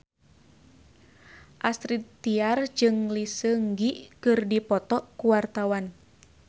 Astrid Tiar jeung Lee Seung Gi keur dipoto ku wartawan